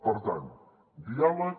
per tant diàleg